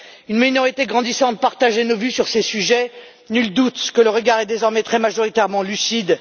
Une minorité grandissante partageait nos vues sur ces sujets. Nul doute que le regard est désormais très majoritairement lucide.